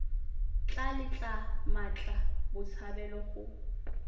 tla letla mmatla botshabelo go